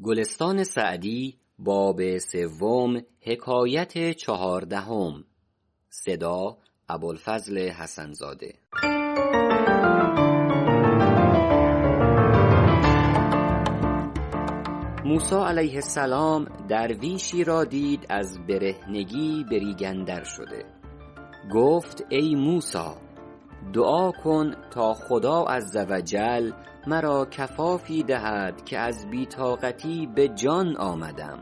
موسی علیه السلام درویشی را دید از برهنگی به ریگ اندر شده گفت ای موسی دعا کن تا خدا عزوجل مرا کفافی دهد که از بی طاقتی به جان آمدم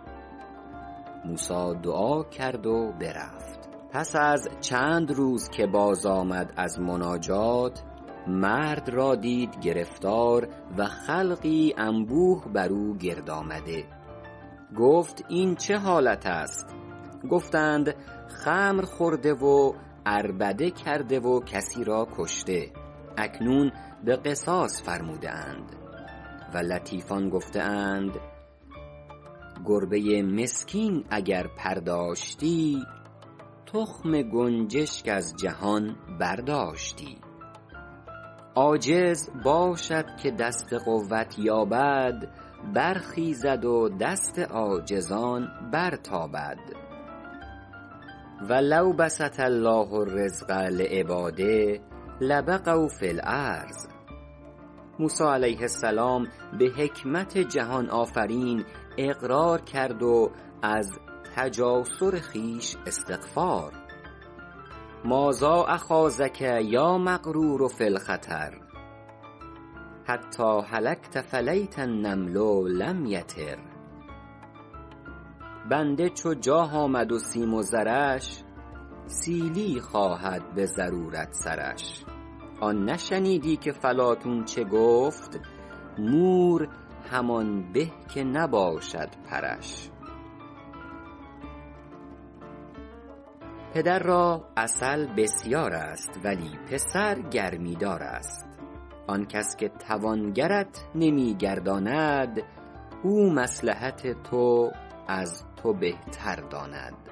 موسی دعا کرد و برفت پس از چند روز که باز آمد از مناجات مرد را دید گرفتار و خلقی انبوه بر او گرد آمده گفت این چه حالت است گفتند خمر خورده و عربده کرده و کسی را کشته اکنون به قصاص فرموده اند و لطیفان گفته اند گربه مسکین اگر پر داشتی تخم گنجشک از جهان برداشتی عاجز باشد که دست قوت یابد برخیزد و دست عاجزان برتابد و لو بسط الله الرزق لعبٰاده لبغوا فی الارض موسی علیه السلام به حکمت جهان آفرین اقرار کرد و از تجاسر خویش استغفار مٰاذا اخاضک یا مغرور فی الخطر حتیٰ هلکت فلیت النمل لم یطر بنده چو جاه آمد و سیم و زرش سیلی خواهد به ضرورت سرش آن نشنیدی که فلاطون چه گفت مور همان به که نباشد پرش پدر را عسل بسیار است ولی پسر گرمی دار است آن کس که توانگرت نمی گرداند او مصلحت تو از تو بهتر داند